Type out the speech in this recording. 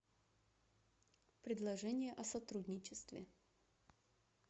предложение о сотрудничестве